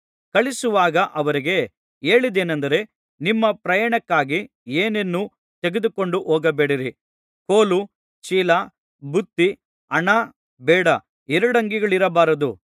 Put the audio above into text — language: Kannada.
ಕಳುಹಿಸುವಾಗ ಅವರಿಗೆ ಹೇಳಿದ್ದೇನಂದರೆ ನಿಮ್ಮ ಪ್ರಯಾಣಕ್ಕಾಗಿ ಏನನ್ನೂ ತೆಗೆದುಕೊಂಡು ಹೋಗಬೇಡಿರಿ ಕೋಲು ಚೀಲ ಬುತ್ತಿ ಹಣ ಬೇಡ ಎರಡಂಗಿಗಳಿರಬಾರದು